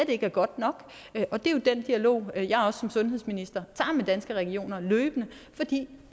ikke er godt nok og det er jo den dialog jeg som sundhedsminister tager med danske regioner fordi